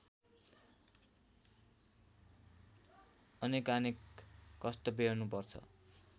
अनेकानेक कष्ट व्यहोर्नुपर्छ